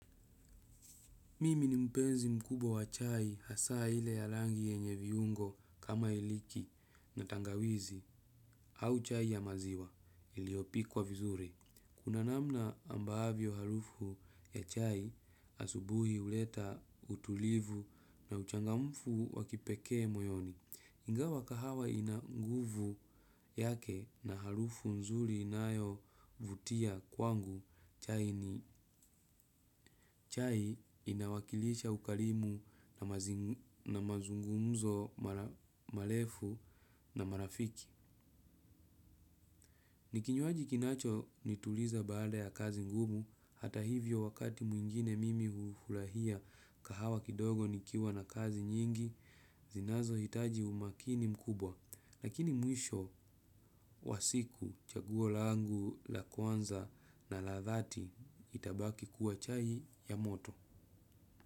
Mimi ni mpenzi mkubwa chai hasa ile ya rangi yenye viungo kama iliki na tangawizi au chai ya maziwa iliopikwa vizuri. Kuna namna ambavyo harufu ya chai asubuhi uleta utulivu na uchangamfu wakipekee moyoni. Ingawa kahawa inanguvu yake na harufu nzuri inayo vutia kwangu chai ni chai inawakilisha ukarimu na mazungumzo marefu na marafiki. Nikinywaji kinacho nituliza baada ya kazi ngumu hata hivyo wakati mwingine mimi ufurahia kahawa kidogo nikiwa na kazi nyingi zinazo hitaji umakini mkubwa. Lakini mwisho wa siku chaguo langu la kwanza na la thati itabaki kuwa chai ya moto.